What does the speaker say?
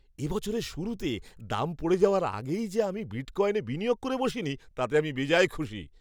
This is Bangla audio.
এ বছরের শুরুতে দাম পড়ে যাওয়ার আগেই যে আমি বিটকয়েনে বিনিয়োগ করে বসিনি, তাতে আমি বেজায় খুশি।